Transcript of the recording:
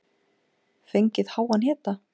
Fengið háan hita.